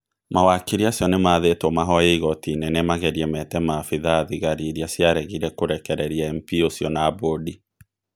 Mawakiri acio nĩ mathĩtwo mahoye igoti inene magerie mete maabitha a thigari iria ciaregire kũrekereria MP ũci na mbũndi.